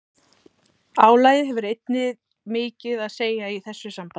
Álagið hefur einnig mikið að segja í þessu sambandi.